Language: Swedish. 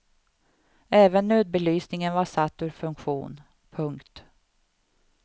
Även nödbelysningen var satt ur funktion. punkt